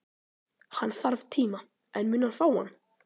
Hann þarf tíma, en mun hann fá hann?